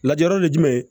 Lajalɔ ye jumɛn ye